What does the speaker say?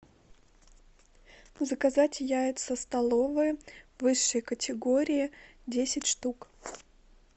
заказать яйца столовые высшей категории десять штук